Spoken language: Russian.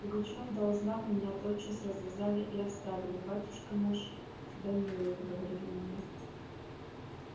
пугачёв дал знак и меня тотчас развязали и оставили батюшка наш тебя милует говорили мне